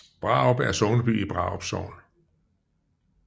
Brarup er sogneby i Brarup Sogn